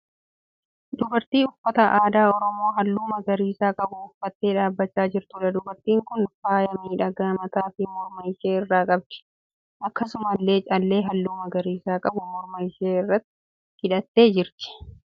Dubartii uffata aadaa oromoo halluu magariisaa qabu uffattee dhaabbachaa jirtuudha. Dubartiin kun faaya miidhagaa mataa fi morma ishee irraa qabdi. Akkasumallee callee halluu magariisa qabu morma ishee irratti hidhattee jirti.